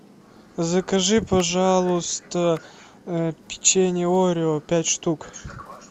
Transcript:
закажи пожалуйста печенье орео пять штук